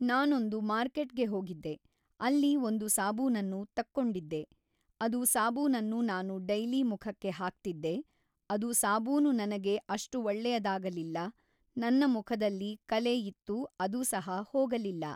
ನಾನೊಂದು ಮಾರ್ಕೆಟ್‌ಗೆ ಹೋಗಿದ್ದೆ ಅಲ್ಲಿ ಒಂದು ಸಾಬೂನನ್ನು ತಕ್ಕೊಂಡಿದ್ದೆ ಅದು ಸಾಬೂನನ್ನು ನಾನು ಡೈಲಿ ಮುಖಕ್ಕೆ ಹಾಕ್ತಿದ್ದೆ ಅದು ಸಾಬೂನು ನನಗೆ ಅಷ್ಟು ಒಳ್ಳೆಯದಾಗಲಿಲ್ಲ ನನ್ನ ಮುಖದಲ್ಲಿ ಕಲೆ ಇತ್ತು ಅದು ಸಹ ಹೋಗಲಿಲ್ಲ